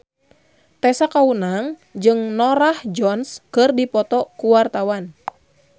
Tessa Kaunang jeung Norah Jones keur dipoto ku wartawan